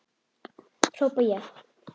hrópa ég.